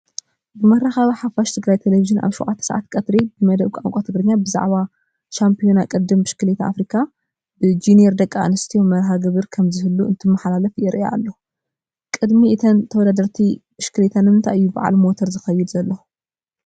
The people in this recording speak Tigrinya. ብመራኸቢ ሓፋሽ ትግራይ ቴሌቪዥን ኣብ 7 ሰዓት ቀትሪ ብመደብ ቋንቋ ትግርኛ ብዛዕባ ቫምፖዮና ቅድድም ብሽክሌታ ኣፍሪካ ብጂኒር ደቂ ኣንስትዮ መርሃግብሪ ከምዝህሉ እንትመሓላለፍ የርኢ ኣሎ፡፡ ቀቅድሚ እተን ተወዳደርቲ ብሽክሌታ ንምንታይ እዩ በዓል ሞተር ዝኸይድ ዘሎ?